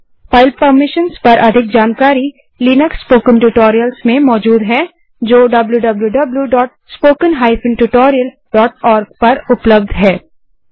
file permission पर अधिक जानकारी लिनक्स स्पोकन ट्यूटोरियल्स में मौजूद है जो wwwspoken tutorialorg पर उपलब्ध है